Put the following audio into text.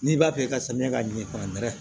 N'i b'a fɛ ka samiya ka ɲɛ fankɛrɛ